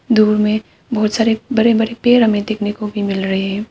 दूर में बहुत सारे बड़े बड़े हमें पेड़ देखने को मिल रहे है।